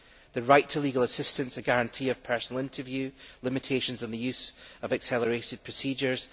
The right to legal assistance, a guarantee of personal interview, limitations on the use of accelerated procedures